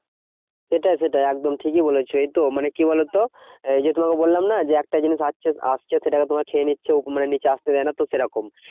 সেটাই সেটাই একদম ঠিকই বলেছো। এইতো মানে কি বলোতো? এই যে তোমাকে বললাম না? যে একটা জিনিস আসছে সেটাকে তোমরা খেয়ে নিচ্ছো মানে নিচে আসতে দেয় না তো সেরকম।